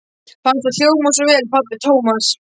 Fannst það hjóma svo vel pabbi Tómas.